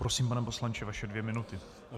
Prosím, pane poslanče, vaše dvě minuty.